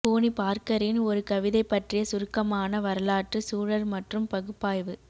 போனி பார்கரின் ஒரு கவிதை பற்றிய சுருக்கமான வரலாற்று சூழல் மற்றும் பகுப்பாய்வு